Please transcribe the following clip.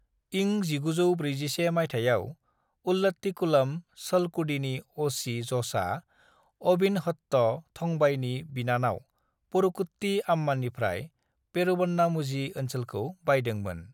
"इं 1941 माइथायाव, उल्लाट्टीकुलम, चलकुडीनि अ'.सि. ज'सआ अविन्हट्ट थंबाईनि बिनानाव परुकुट्टी अम्मानिफ्राय पेरूवन्नामुझी ओनसोलखौ बायदोंमोन।"